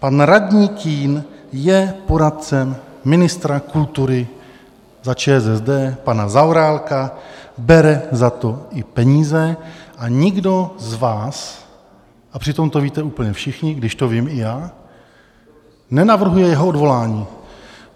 Pan radní Kühn je poradcem ministra kultury za ČSSD pana Zaorálka, bere za to i peníze a nikdo z vás - a přitom to víte úplně všichni, když to vím i já - nenavrhuje jeho odvolání.